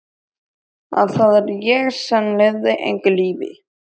Að það er ég sem lifi engu lífi.